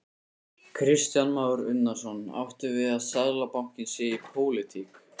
Kristján Már Unnarsson: Áttu við að Seðlabankinn sé í pólitík?